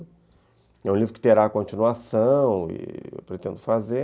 É um livro que terá continuação e eu pretendo fazer.